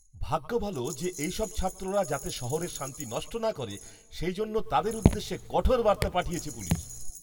ভাগ্য ভালো যে, এই সব ছাত্ররা যাতে শহরের শান্তি নষ্ট না করে, সে জন্য তাদের উদ্দেশ্যে কঠোর বার্তা পাঠিয়েছে পুলিশ।